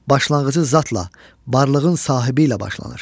Başlanğıcı zatla, varlığın sahibi ilə başlanır.